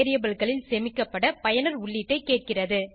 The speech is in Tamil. variableகளில் சேமிக்கப்பட பயனர் உள்ளீட்டைக் கேட்கிறது